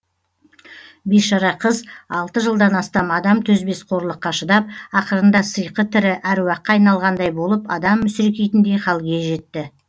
бейшара қыз алты жылдан астам адам төзбес қорлыққа шыдап ақырында сыйқы тірі әруаққа айналғандай болып адам мүсіркейтіндей халге жетті